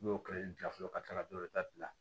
N'i y'o kɛ i bila fɔlɔ ka tila ka dɔwɛrɛ ta